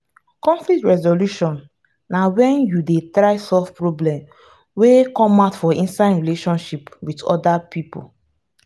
conflcit resolution na when you dey try solve problem wey come out for inside relationship with oda pipo